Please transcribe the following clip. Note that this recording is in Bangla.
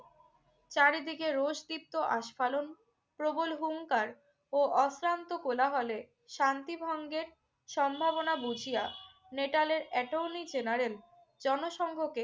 চারিদিকে রোষদীপ্ত আস্ফালন প্রবল হুংকার ও অশ্রান্ত কোলাহলে শান্তিভঙ্গের সম্ভাবনা বুঝিয়া অ্যাটর্নি জেনারেল জনসংঘকে